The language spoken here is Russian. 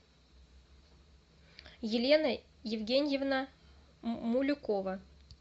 елена евгеньевна мулюкова